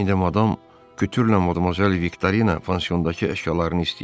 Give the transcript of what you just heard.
İndi Madam Kütürlə Modmozel Viktorina pansiondakı əşyalarını istəyir.